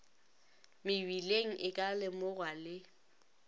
mebileng e ka lemogwa le